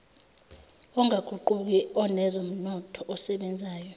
ongaguquki onezomnotho osebenzayo